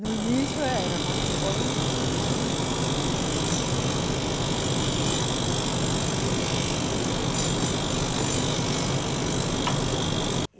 No início era, mas depois, mais não, né. E